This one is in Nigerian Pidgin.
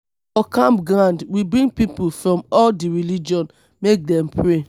for camp ground we bring pipu from all di religion make dem pray.